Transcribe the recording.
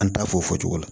An t'a fɔ o fɔ cogo la